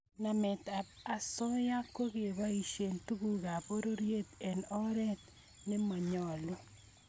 Nametab osoya kokeboisie tugukab pororiet eng oret ne monyolu